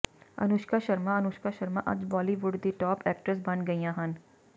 ਅਨੁਸ਼ਕਾ ਸ਼ਰਮਾ ਅਨੁਸ਼ਕਾ ਸ਼ਰਮਾ ਅੱਜ ਬਾਲੀਵੁਡ ਦੀ top actress ਬੰਨ ਗਈਆਂ ਹਨ